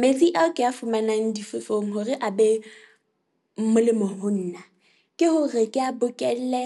Metsi ao ke a fumanang difefong hore a be molemo ho nna ke hore ke a bokelle.